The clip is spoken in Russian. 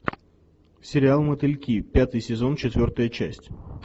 сериал мотыльки пятый сезон четвертая часть